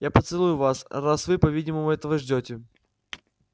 я поцелую вас раз вы по-видимому этого ждёте